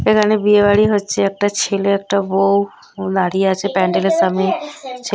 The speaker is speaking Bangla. এখানে বিয়ে বাড়ি হচ্ছে একটা ছেলে একটা বউ ও দাঁড়িয়ে আছে প্যান্ডেলের সামনে। ছে--